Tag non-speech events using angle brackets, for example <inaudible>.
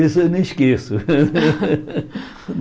Isso eu nem esqueço. <laughs>